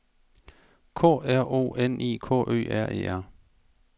K R O N I K Ø R E R